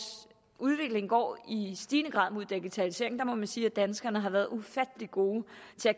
udvikling går i stigende grad mod digitalisering og der må man sige at danskerne bare har været ufattelig gode